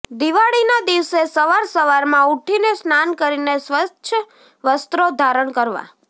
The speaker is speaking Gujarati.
દિવાળીના દિવસે સવાર સવારમાં ઉઠીને સ્નાન કરીને સ્વચ્છ વસ્ત્રો ધારણ કરવા